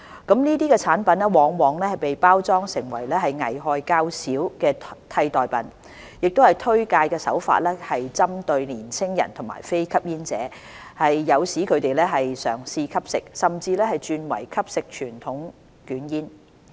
這些產品往往被包裝成危害較少的替代品；推介手法更針對年青人和非吸煙者，誘使他們嘗試吸食，甚至轉為吸食傳統捲煙。